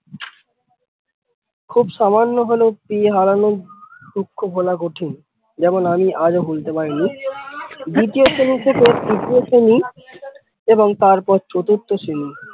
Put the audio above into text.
খুব সামান্য হলেও পেয়ে হারানোর দুঃখ ভোলা খুব কঠিন যেমন আমি আজ অ ভুলতে পারিনি দ্বিতীয় থেকে তৃতীয় শ্রেণী এবং তার পর চতুর্থ শ্রেণী।